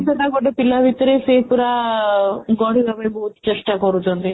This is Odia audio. ସେଇଟା ଗୋଟେ ପିଲା ଭିତରେ ସେ ପୁରା ଗଡ଼ିବା ପାଇଁ ବହୁତ ଚେଷ୍ଟା କରୁଛନ୍ତି